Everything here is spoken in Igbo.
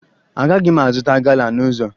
Agaghị m azụta gala n'ụzọ